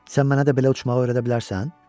Sən mənə də belə uçmağı öyrədə bilərsən?